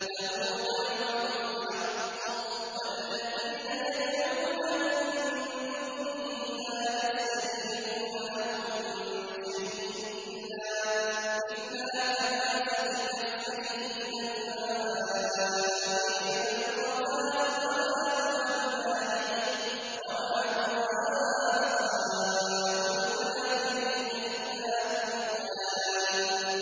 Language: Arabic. لَهُ دَعْوَةُ الْحَقِّ ۖ وَالَّذِينَ يَدْعُونَ مِن دُونِهِ لَا يَسْتَجِيبُونَ لَهُم بِشَيْءٍ إِلَّا كَبَاسِطِ كَفَّيْهِ إِلَى الْمَاءِ لِيَبْلُغَ فَاهُ وَمَا هُوَ بِبَالِغِهِ ۚ وَمَا دُعَاءُ الْكَافِرِينَ إِلَّا فِي ضَلَالٍ